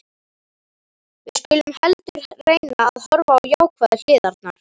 Við skulum heldur reyna að horfa á jákvæðu hliðarnar.